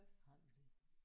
Har du det?